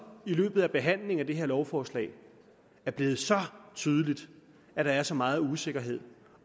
i løbet af behandlingen af det her lovforslag er blevet tydeligt at der er så meget usikkerhed